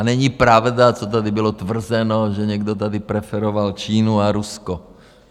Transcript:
A není pravda, co tady bylo tvrzeno, že někdo tady preferoval Čínu a Rusko.